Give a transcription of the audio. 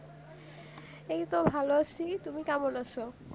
এইতো ভালো আছি তুমি কেমন আছো